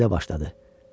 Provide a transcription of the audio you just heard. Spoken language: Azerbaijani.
O belə başladı.